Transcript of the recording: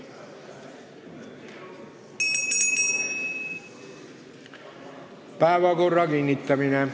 Päevakorra kinnitamine.